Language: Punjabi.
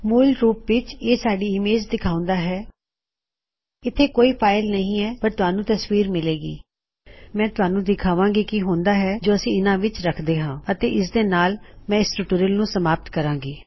ਮੂਲ ਰੂਪ ਵਿੱਚਇਹ ਸਾਡੀ ਇਮੇਜ ਦਿਖਾਉਂਦਾ ਹੈ ਮੈਂ ਤੁਹਾਨੂੰ ਦਿਖਾਂਵਾਂ ਗੀ ਕੀ ਹੁੰਦਾ ਹੈ ਜੇ ਅਸੀਂ ਇਹਨਾ ਨੂੰ ਇਸ ਵਿੱਚ ਰਖਦੇ ਹਾਂ ਅਤੇ ਇਸਦੇ ਨਾਲ ਹੀ ਮੈਂ ਇਸ ਟਿਊਟੋਰਿਯਲ ਨੂੰ ਸਮਾਪਤ ਕਰਾਂਗੀ